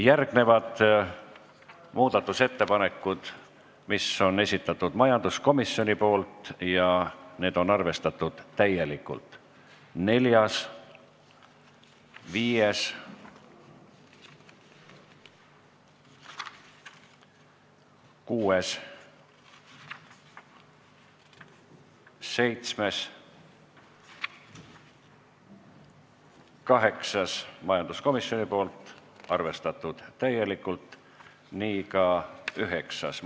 Järgmised muudatusettepanekud, mis on majanduskomisjoni esitatud ja mis on arvestatud täielikult: neljas, viies, kuues, seitsmes, kaheksas, üheksas.